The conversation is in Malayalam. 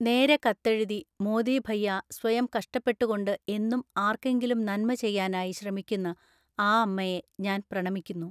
നേരെ കത്തെഴുതി മോദീ ഭൈയാ സ്വയം കഷ്ടപ്പെട്ടുകൊണ്ട് എന്നും ആര്‍ക്കെങ്കിലും നന്മചെയ്യാനായി ശ്രമിക്കുന്ന ആ അമ്മയെ ഞാന്‍ പ്രണമിക്കുന്നു.